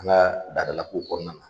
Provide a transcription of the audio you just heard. An ka dadala kow kɔnɔna na